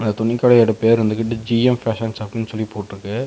துணிக்கடையோட பெயர் வந்துகிட்டு G M fashion ஷாப்னு சொல்லி போட்டுருக்கு.